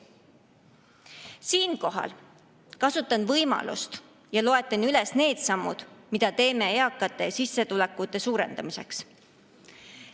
Siinkohal kasutan võimalust ja loetlen need sammud, mida teeme eakate sissetulekute suurendamiseks.